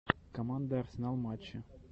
команда арсенал матчи